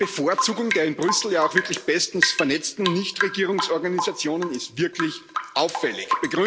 Diese Bevorzugung der in Brüssel ja auch wirklich bestens vernetzten Nichtregierungsorganisationen ist wirklich auffällig.